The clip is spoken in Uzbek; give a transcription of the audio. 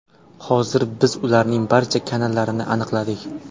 Hozir biz ularning barcha kanallarini aniqladik.